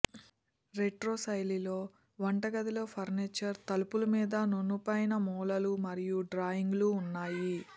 retro శైలిలో వంటగది లో ఫర్నిచర్ తలుపులు మీద నునుపైన మూలలు మరియు డ్రాయింగులు ఉన్నాయి